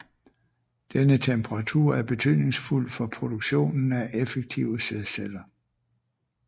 Denne temperatur er betydningsfuld for produktionen af effektive sædceller